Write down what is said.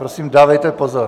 Prosím, dávejte pozor.